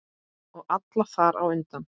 Og alla þar á undan.